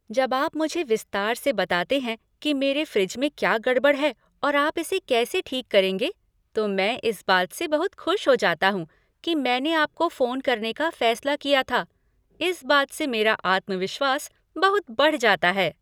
जब आप मुझे विस्तार से बताते हैं कि मेरे फ़्रिज में क्या गड़बड़ है और आप इसे कैसे ठीक करेंगे तो मैं इस बात से बहुत खुश हो जाता हूँ कि मैंने आपको फोन करने का फ़ैसला किया था। इस बात से मेरा आत्मविश्वास बहुत बढ़ जाता है।